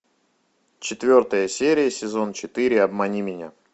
четвертая серия сезон четыре обмани меня